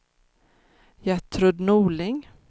Gertrud Norling